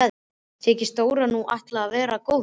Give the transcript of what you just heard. Þykist Dóri nú ætla að vera góður.